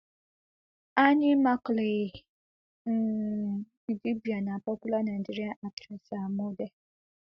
annie macaulay um idibia na popular nigerian actress and model